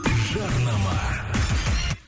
жарнама